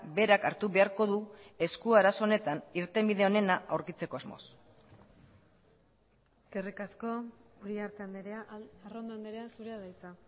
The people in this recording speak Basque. berak hartu beharko du esku arazo honetan irtenbide onena aurkitzeko asmoz eskerrik asko uriarte andrea arrondo andrea zurea da hitza